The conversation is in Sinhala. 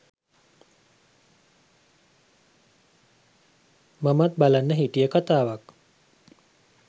මමත් බලන්න හිටිය කතාවක්.